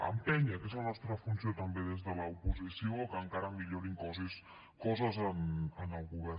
empènyer que és la nostra funció també des de l’oposició que encara millorin coses en el govern